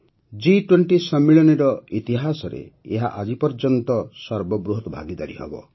ଜି୨୦ ସମ୍ମିଳନୀର ଇତିହାସରେ ଏହା ଆଜି ପର୍ଯ୍ୟନ୍ତର ସର୍ବବୃହତ ଭାଗିଦାରୀ ହେବ